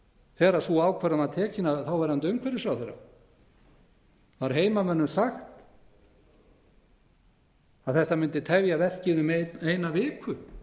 þegar sú ákvörðun var tekin af þáverandi umhverfisráðherra var heimamönnum sagt að þetta mundi tefja verkið um eina viku